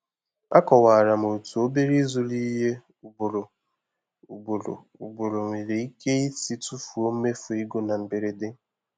Akọwara m otú obere ịzụrụ ihe ugboro ugboro ugboro nwere ike isi tụfuo mmefu ego na mberede.